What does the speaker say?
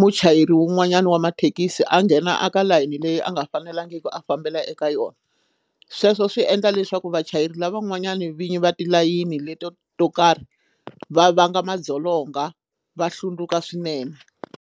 muchayeri wun'wanyana wa mathekisi a nghena a ka layeni leyi a nga fanelangiki a fambela eka yona sweswo swi endla leswaku vachayeri lavan'wanyani vinyi va tilayini leto to karhi va vanga madzolonga va hlundzuka swinene.